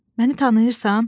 Məni tanıyırsan?